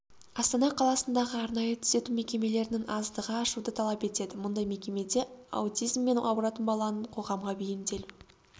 астана қаласындағы арнайы түзету мекемелерінің аздығы ашуды талап етеді мұндай мекемеде аутизммен ауыратын баланың қоғамға бейімделу